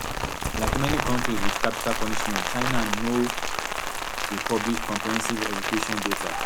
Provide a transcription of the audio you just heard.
like many kontris wit capital punishment china no dey publish comprehensive execution data